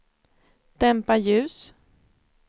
dämpa ljus